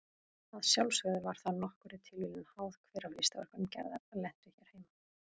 Að sjálfsögðu var það nokkurri tilviljun háð hver af listaverkum Gerðar lentu hér heima.